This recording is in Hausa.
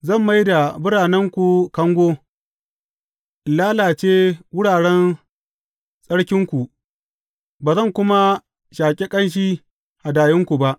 Zan mai da biranenku kango, in lalace wuraren tsarkinku, ba zan kuma shaƙi ƙanshi hadayunku ba.